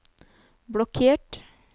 blokkert